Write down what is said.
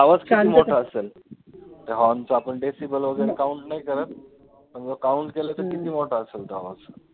आवाज किती मोठा असेल, ते horn चा आपण decimal वैगरे count नाही करत पण जर count केलं तर किती मोठा असेल तो आवाज